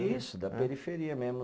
Isso, da periferia mesmo.